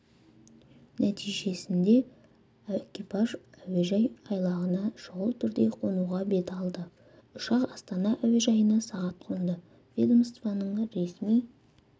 нәтижесінде экипаж әуежай айлағына шұғыл түрде қонуға бет алды ұшақ астана әуежайына сағат қонды ведомствоның ресми